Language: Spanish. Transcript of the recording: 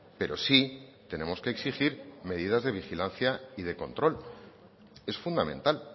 pero sí tenemos que exigir medidas de vigilancia y de control es fundamental